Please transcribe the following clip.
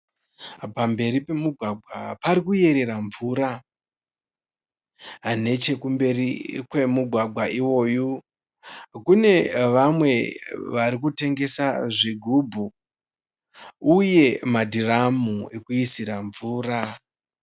Pamberi pemugwagwa pari kuyerera mvura. Nechekumberi kwemugwagwa iwoyu kune vamwe vari kutengesa zvigubhu uye madhiramu ekuisira mvura.